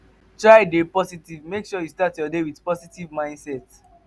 try de positive make sure say you start your day with positive mindset